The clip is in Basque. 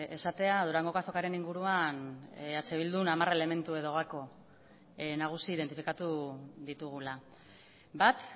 esatea durangoko azokaren inguruan eh bildun hamar elementu edo gako nagusi identifikatu ditugula bat